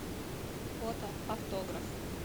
фото автограф